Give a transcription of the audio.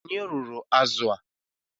Ònye rụrụ azụ a?